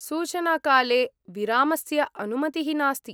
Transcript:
सूचनाकाले विरामस्य अनुमतिः नास्ति।